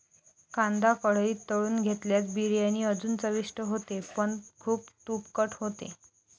कांदा कढईत तळून घेतल्यास बिर्याणी अजून चविष्ट होते पण खूप तुपकट होते.